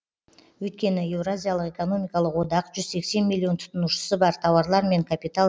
өйткені еуразиялық экономикалық одақ жүз сексен миллион тұтынушысы бар тауарлар мен капитал